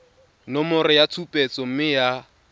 nomoro ya tshupetso mme ya